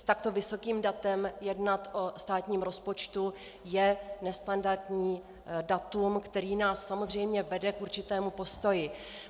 S takto vysokým datem jednat o státním rozpočtu je nestandardní datum, které nás samozřejmě vede k určitému postoji.